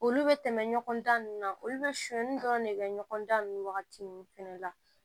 Olu bɛ tɛmɛ ɲɔgɔn da nunnu na olu bɛ sonyani dɔrɔn de kɛ ɲɔgɔn da nunnu wagati fɛnɛ la